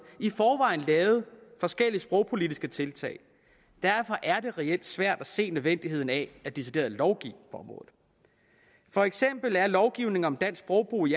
i forvejen lavet forskellige sprogpolitiske tiltag derfor er det reelt svært at se nødvendigheden af decideret at lovgive på området for eksempel er lovgivning om dansk sprogbrug i